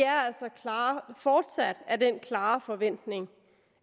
har fortsat den klare forventning